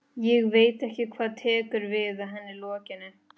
Ég veit ekki hvað tekur við að henni lokinni.